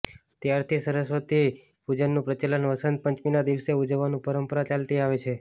ત્યારથી સરસ્વતી પૂજનનું પ્રચલન વસંત પંચમીના દિવસે ઉજવવાની પરંપરા ચાલતી આવે છે